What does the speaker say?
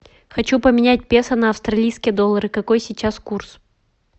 хочу поменять песо на австралийские доллары какой сейчас курс